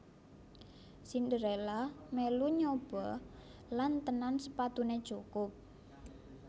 Cinderella melu nyoba lan tenan sepatunè cukup